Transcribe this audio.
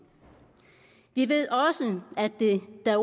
vi ved også at det da